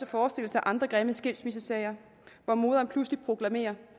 forestille sig andre grimme skilsmissesager hvor moderen pludselig proklamerer